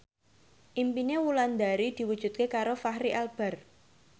impine Wulandari diwujudke karo Fachri Albar